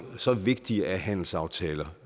så vigtige er handelsaftaler